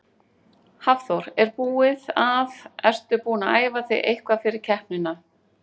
Hafþór: Er búið að, ertu búin að æfa þig eitthvað fyrir keppnina?